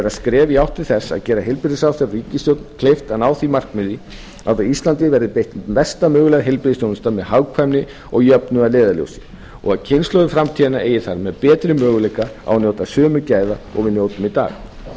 skref í átt til þess að gera heilbrigðisráðherra og ríkisstjórn kleift að ná því markmiði að á íslandi verði veitt besta möguleg heilbrigðisþjónusta með hagkvæmni og jöfnuð að leiðarljósi og að kynslóðir framtíðarinnar eigi þar með betri möguleika á að njóta sömu gæða og við njótum í dag